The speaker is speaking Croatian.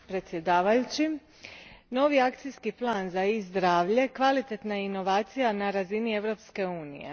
Poštovani g. predsjedavajući, novi akcijski plan za e zdravlje kvalitetna je inovacija na razini Europske unije.